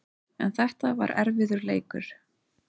En þetta var erfiður leikur